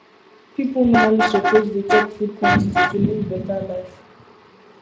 people normally suppose dey check food quantity to live better life